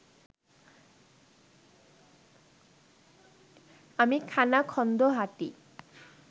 আমি খানাখন্দো হাঁটি